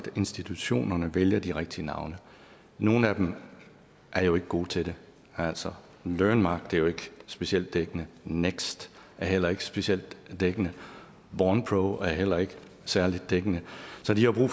institutionerne vælger de rigtige navne nogle af dem er jo ikke gode til det altså learnmark er jo ikke specielt dækkende next er heller ikke specielt dækkende bornpro er heller ikke særlig dækkende så de har jo